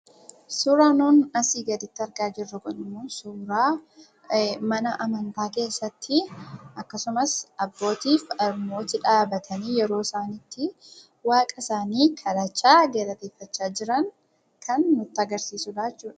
Suuraan nuun asi gadiitti argaa jirruu kun immoo, suuraa mana Amantaa keessatti, akkasumaas Abboottifi Harmootti dhabbatani yeroo isaan itti Waaqa isaani kadhacha, galaateffaa jiraan kan nuti agarsisudha jechuudha.